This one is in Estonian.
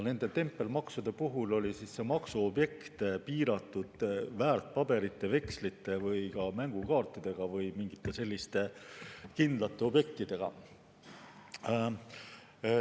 Nende tempelmaksude puhul oli see maksuobjekt piiratud väärtpaberite, vekslite, ka mängukaartidega või mingite kindlate objektidega.